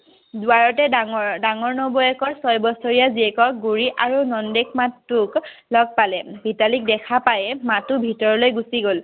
দোৱাৰতে ডাঙৰ নবৌৱেকৰ ছয় বছৰীয়া জীয়েকৰ আৰু নন্দেক মাথোক লগ পালে। মিতালীক দেখা পায়ে মাথো ভিতৰলৈ গুচি গল